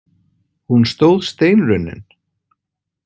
Hún stóð steinrunnin.